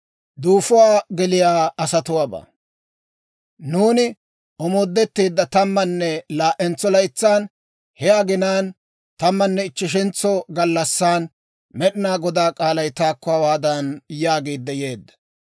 Nuuni omoodetteedda tammanne laa"entso laytsan, he aginaan, tammanne ichcheshentso gallassan, Med'inaa Godaa k'aalay taakko hawaadan yaagiidde yeedda;